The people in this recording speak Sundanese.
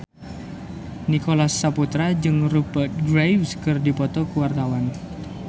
Nicholas Saputra jeung Rupert Graves keur dipoto ku wartawan